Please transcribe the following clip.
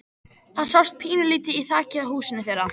Þarna sást pínulítið í þakið á húsinu þeirra.